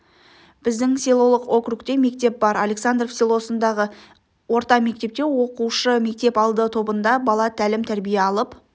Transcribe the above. біздің селолық округте мектеп бар александров селосындағы орта мектепте оқушы мектеп алды тобында бала тәлім-тәрбие алып